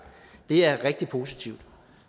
det er rigtig positivt